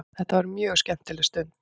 Þetta var mjög skemmtileg stund.